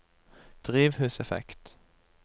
drivhuseffekt